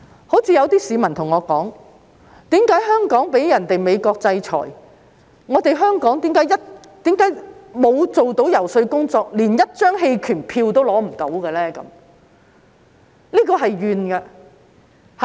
正如有些市民跟我說，在被美國制裁一事上，香港為何沒有做遊說工作，連一張棄權票也爭取不到？